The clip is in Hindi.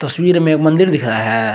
तस्वीर में मंदिर दिख रहा है।